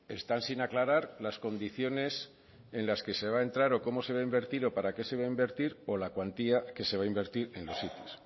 están sin aclarar las condiciones en las que se va entrar o cómo se va a invertir o para qué se va a invertir o la cuantía que se va a invertir en los